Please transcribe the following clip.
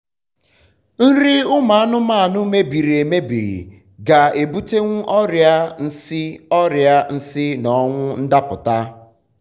nri ụmụ anụmanụ mebiri emebi ga ebutewu ọria nsi ọria nsi na ọnwụ ndapụta